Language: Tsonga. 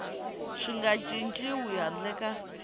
swi nga cinciwi handle ka